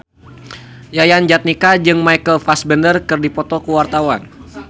Yayan Jatnika jeung Michael Fassbender keur dipoto ku wartawan